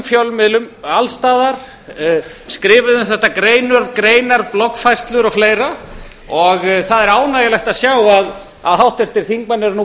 fjölmiðlum alls staðar skrifuðu um þetta greinar bloggfærslur og fleira það er ánægjulegt að sjá að háttvirtir þingmenn eru nú